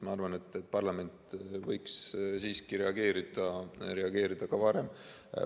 Ma arvan, et parlament võiks siiski reageerida ka varem.